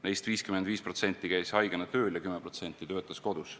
Neist 55% käis haigena tööl ja 10% töötas kodus.